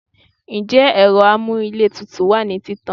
njẹ ero amú íle tútú wa ni títàn